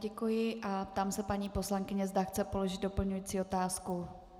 Děkuji a ptám se paní poslankyně, zda chce položit doplňující otázku.